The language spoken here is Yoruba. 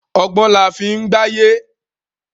Ọgbọ́n laa fi ń gbáyé